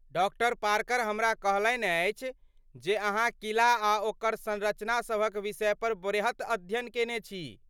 Doctor Parker हमरा कहलनि अछि जे अहाँ किला आ ओकर संरचना सभक विषयपर बृहत अध्ययन केने छी।